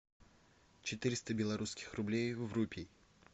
четыреста белорусских рублей в рупий